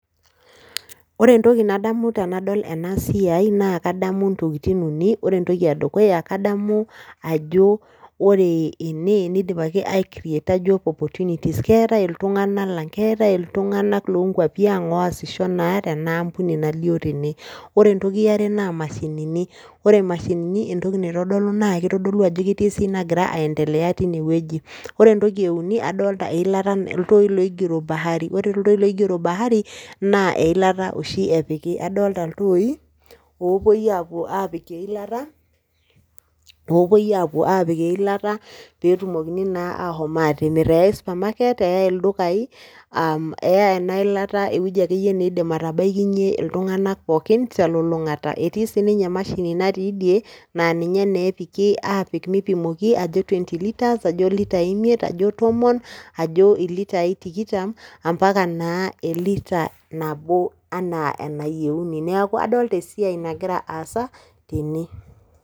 Ore entoki nadamu tanadol enasiai naa kadamu intokitin uni. Ore entoki edukuya kadamu ajo ore ene neidipaki aikreata  job opportunities. Keetai iltung'ana lang' keetai iltung'anak loonkuapi ang' loasisho naa tenaampuni nalio tene. Ore entoki eare naa mashinini ore mashinini entoki naitodolu, naakeitodolu ajo ketii esiai nagira aendelea tinewueji. Ore entoki euni adolta eilata, iltooi loigero  bahari. Ore iltooi loigero bahari naa eilata oshi epiki, adolta iltooi oopuoiaapuo aapik eilata, loopuoi aapik eilata peetumokini naa aashom atimirr. Eyai supamaket, eyai ildukai aa , eyai ena ilata ewueji akeyie neidim atabaikinye iltung'anak pookin telulung'ata. Etii sininye emashini natiidie naaninye neepiki aapik meipimoki ajo twenty litres ajo litai imiet ajo tomon ajo ilitai tikitam ampaka naa elita nabo anaa enayeuni. Neaku adolta esiai nagira aasa tene.